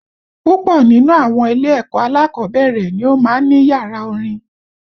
Púpọ̀ nínú àwọn ilé-ẹ̀kọ́ alákọ̀ọ́bẹ̀rẹ̀ ni ó máa ń ní yàrá orin